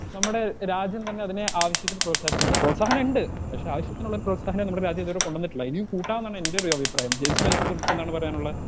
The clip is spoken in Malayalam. സ്പീക്കർ 2 നമ്മുടെ രാജ്യം തന്നെ അതിനെ ആവശ്യത്തിന് പ്രോത്സാഹിപ്പിക്കുന്നില്ല പ്രോത്സാഹനണ്ട് പക്ഷെ ആവശ്യത്തിനുള്ളൊരു പ്രോത്സാഹനം നമ്മടെ രാജ്യതുവരെ കൊണ്ടന്നിട്ടില്ല ഇനിയും കൂട്ടാംന്നാണ് എന്റൊരഭിപ്രായം ജെയിംസിനതിനെ കുറിച്ചെന്താണ് പറയാനുള്ളെ.